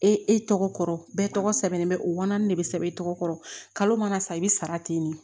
E tɔgɔ kɔrɔ bɛɛ tɔgɔ sɛbɛn bɛ o wa naani de bɛ sɛbɛn e tɔgɔ kalo mana sa i bɛ sara ten de